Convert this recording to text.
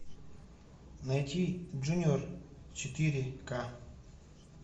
найти джуниор четыре к